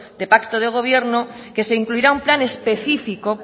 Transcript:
de pacto de gobierno que se incluirá un plan específico